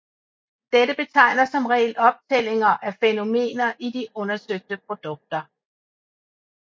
Dette betegner som regel optællinger af fænomener i de undersøgte produkter